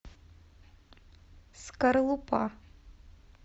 скорлупа